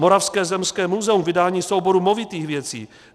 Moravské zemské muzeum - vydání souboru movitých věcí.